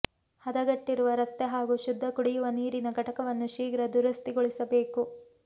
ಹದಗೆಟ್ಟಿರುವ ರಸ್ತೆ ಹಾಗೂ ಶುದ್ಧ ಕುಡಿಯುವ ನೀರಿನ ಘಟಕವನ್ನು ಶೀಘ್ರ ದುರಸ್ತಿಗೊಳಿಸಬೇಕು